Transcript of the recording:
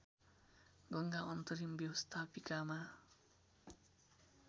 गङ्गा अन्तरिम व्यवस्थापिकामा